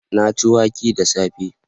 Na ci wake da safe